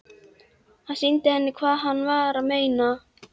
Hann sýndi henni hvað hann var að meina.